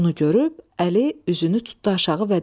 Bunu görüb Əli üzünü tutdu aşağı və dedi: